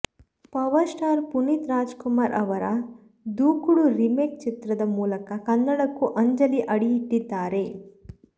power star Puneeth Rajkumar ಅವರ Dookudu remake ಚಿತ್ರದ ಮೂಲಕ ಕನ್ನಡಕ್ಕೂ ಅಂಜಲಿ ಅಡಿಯಿಟ್ಟಿದ್ದಾರೆ